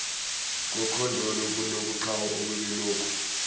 kokhondolo lobuqhawe obelulokhu